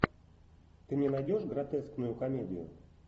ты мне найдешь гротескную комедию